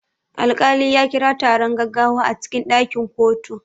Alkali ya kira taron gaggawa a cikin ɗakin kotu.